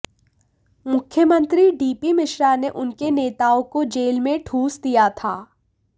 मुख्यमंत्री डीपी मिश्रा ने उनके नेताओं को जेल में ठूंस दिया था